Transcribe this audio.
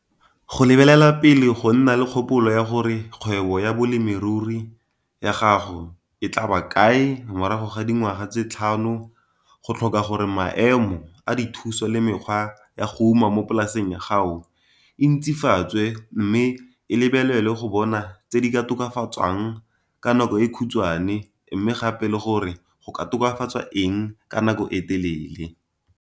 Go lebelela pele go nna le kgopolo ya gore kgwebo ya bolemirui ya gago e tla ba kae morago ga dingwaga tse tlhano go tlhoka gore maemo a dithuso le mekgwa ya go uma mo polaseng ya gao e ntsifatswe mme e lebelelwe go bona tse di ka tokafatswang ka nako e khutswane mme gape le gore go ka tokafatswa eng ka nako e telele.